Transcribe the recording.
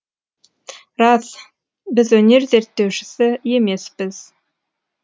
рас біз өнер зерттеушісі емеспіз